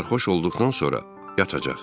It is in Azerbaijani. Sərxoş olduqdan sonra yatacaq.